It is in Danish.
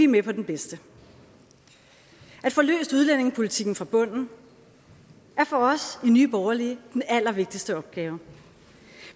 med på den bedste at få løst udlændingepolitikken fra bunden er for os i nye borgerlige den allervigtigste opgave